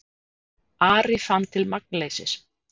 Ari fann til magnleysis.